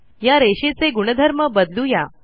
या रेषेचे गुणधर्म बदलू या